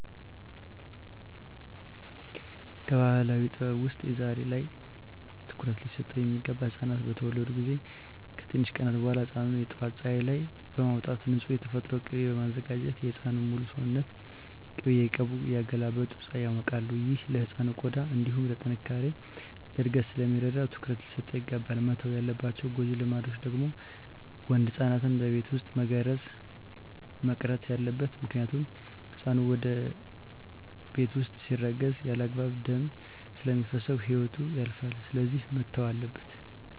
ከባህላዊ ጥበብ ውስጥ ዛሬ ላይ ትኩሩት ሊሰጠው ሚገባ ህፃናት በተወለዱ ጊዜ ከትንሽ ቀናት በኋላ ህፃኑን የጠዋት ፀሀይ ላይ በማውጣት ንፁህ የተፈጥሮ ቂቤ በማዘጋጀት የህፃኑን ሙሉ ሰውነት ቅቤ እየቀቡ እያገላበጡ ፀሀይ ያሞቃሉ። ይህ ለህፃኑ ቆዳ እንዲሁም ለጥነካሬ፣ ለእድገት ስለሚረዳው ትኩረት ሊሰጠው ይገባል። መተው ያለባቸው ጎጂ ልማዶች ደግሞ ወንድ ህፃናትን በቤት ውስጥ መገረዝ መቅረት አለበት ምክንያቱም ህፃኑ ቤት ውስጥ ሲገረዝ ያለአግባብ ደም ስለሚፈስሰው ህይወቱ ያልፋል ስለዚህ መተው አለበት።